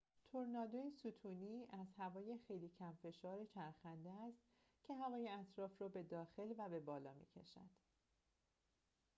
تورنادو ستونی از هوای خیلی کم‌فشار چرخنده است که هوای اطراف را به داخلی و به بالا می‌کشد